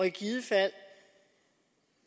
i givet fald